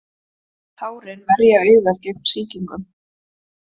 Tárin verja augað gegn sýkingum.